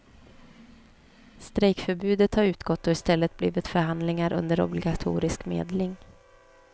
Strejkförbudet har utgått och i stället blivit förhandlingar under obligatorisk medling.